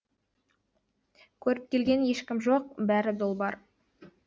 көріп келген ешкім жоқ бәрі долбар